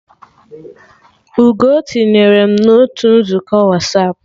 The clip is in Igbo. Ugoo tinyere mụ na otu nzukọ Wasapụ